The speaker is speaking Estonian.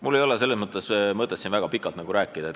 Mul ei ole sellest väga pikalt midagi rääkida.